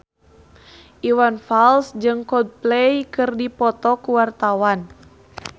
Iwan Fals jeung Coldplay keur dipoto ku wartawan